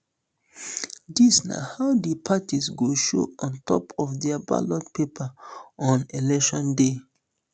dis na how di parties go show on top of di ballot paper on election day